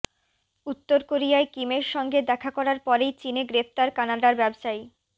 উত্তর কোরিয়ায় কিমের সঙ্গে দেখা করার পরেই চিনে গ্রেফতার কানাডার ব্যবসায়ী